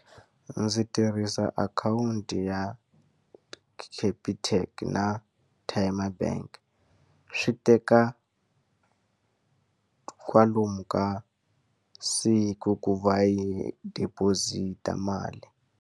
Ndzi tirhisa akhawunti ya Capitec na Tyme Bank. Swi teka kwalomu ka siku ku va yi deposit-a mali.